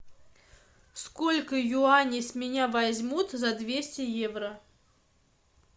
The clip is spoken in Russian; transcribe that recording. сколько юаней с меня возьмут за двести евро